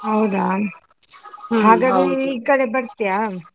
ಹೌದಾ? ನೀನು ಈ ಕಡೆ ಬರ್ತೀಯಾ?